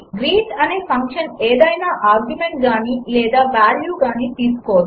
greet అనే function ఏదయినా argument గానీ లేదా వాల్యూ గానీ తీసుకోదు